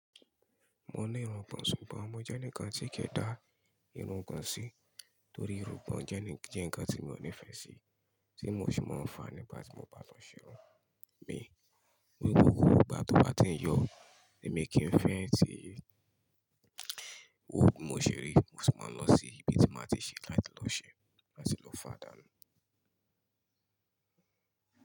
Mo ní irun'gban, ṣùgbọ́n mo jẹ́ ẹni kan tí kì í da irun'gban sí torí irun'gban jẹ́ ń kan tí mi ò nífẹ̀ẹ́ sí, tí mo sì máa ń fà nígbà tí mo bá tan ṣerún mi. Ní gbogbo ìgbà tó bá ti ń yọ ni mi kì í fẹ́ ètò yìí. Ó gbe mo ṣeré, mo sì máa ń lọ sí ibi tí màá ti ṣe láti lọ ṣe láti lọ fàdá.